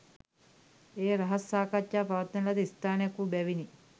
එය රහස් සාකච්ඡා පවත්වන ලද ස්ථානයක් වූ බැවිනි